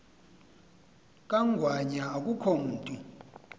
kangwanya akukho mntu